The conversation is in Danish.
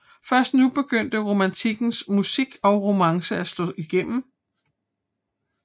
Først nu begyndte romantikkens musik og romancen at slå igennem